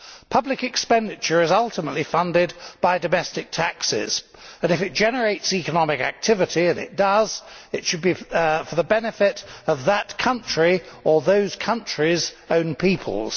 Public expenditure is ultimately funded by domestic taxes, but if it generates economic activity and it does it should be for the benefit of that country or those countries' own peoples.